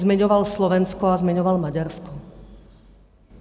Zmiňoval Slovensko a zmiňoval Maďarsko.